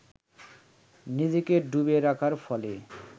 নিজেকে ডুবিয়ে রাখার ফলে